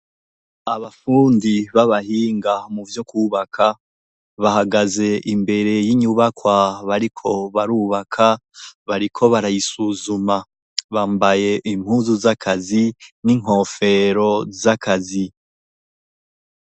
Abafundi b'abahinga mu vyo kwubaka, bahagaze imbere y'inyubakwa bariko barubaka, bariko barayisuzuma. Bambaye impuzu z'akazi n'inkofero z'akazi.